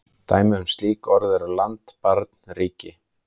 Dæmi um slík orð eru land, barn, ríki.